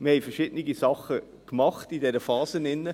Wir haben in dieser Phase verschiedene Dinge gemacht.